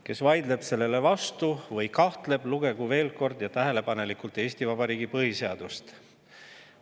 Kes vaidleb sellele vastu või kahtleb selles, lugegu veel kord tähelepanelikult Eesti Vabariigi põhiseadust.